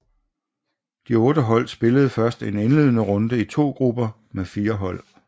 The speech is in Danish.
De otte hold spillede først en indledende runde i to grupper med fire hold